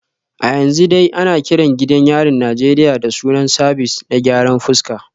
A yanzu dai ana kiran gidan yarin Najeriya da sunan Sabis na gyaran fuska